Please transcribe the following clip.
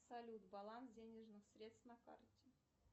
салют баланс денежных средств на карте